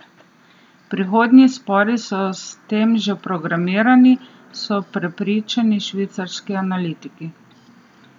Prihodnji spori so s tem že programirani, so prepričani švicarski analitiki.